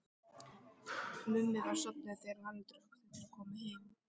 Mummi var sofnaður þegar Haraldur og Ragnhildur komu heim.